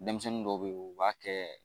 Denmisɛnnin dɔw bɛ ye u b'a kɛ